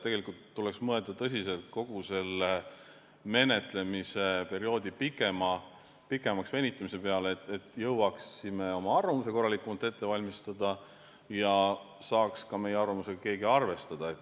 Nii et tuleks mõelda tõsiselt kogu selle menetlemise perioodi pikemaks venitamise peale, et me jõuaksime oma arvamuse korralikumalt ette valmistada ja keegi saaks ka meie arvamusega arvestada.